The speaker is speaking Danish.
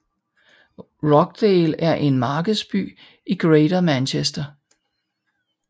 Rochdale er en markedsby i Greater Manchester